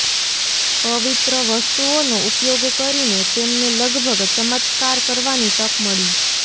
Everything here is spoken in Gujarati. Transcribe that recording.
પવિત્ર વસ્તુઓનો ઉપયોગ કરીને તેમને લગભગ ચમત્કાર કરવાની તક મળી